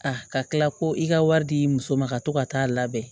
A ka tila ko i ka wari di muso ma ka to ka taa labɛn